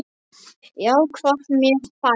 Já, hvað með þær?